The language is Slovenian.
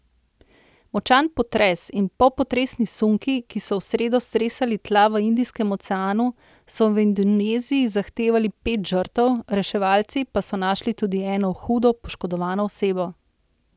Močan potres in popotresni sunki, ki so v sredo stresali tla v Indijskem oceanu, so v Indoneziji zahtevali pet žrtev, reševalci pa so našli tudi eno hudo poškodovano osebo.